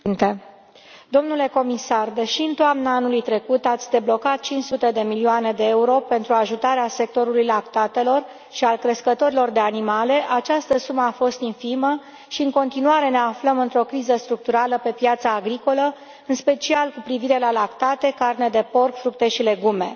Domnule președinte, domnule comisar, deși în toamna anului trecut ați deblocat 500 de milioane de euro pentru ajutarea sectorului lactatelor și a crescătorilor de animale, această sumă a fost infimă și în continuare ne aflăm într o criză structurală pe piața agricolă, în special cu privire la lactate, carne de porc, fructe și legume.